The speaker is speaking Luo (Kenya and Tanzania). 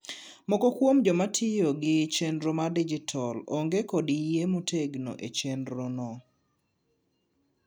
moko kuom jomatiyogi chenro mar dijital onge kod yie motego e chienrono